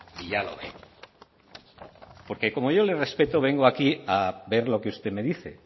y ya lo veo porque como yo le respeto vengo aquí a ver lo que usted me dice